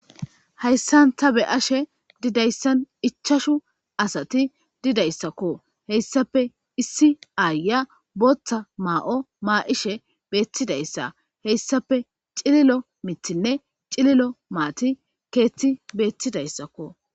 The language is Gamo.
Hayssan ta be ashe didayssan ichashu asati didayssakko heyssape issi aaya booththa maa7o maa7ishe beettidayssa heyssape cililo mithinne cililo maati keethti beettidayssakko.